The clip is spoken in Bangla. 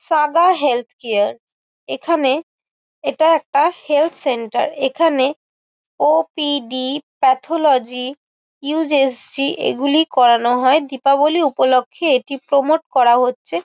Saga health care. এখানে এটা একটা হেলথ সেন্টার । এখানে ওপিডি প্যাথোলজি ইউএসজি এগুলি করানো হয়। দীপাবলি উপলক্ষে এটি প্রমোট করা হচ্ছে।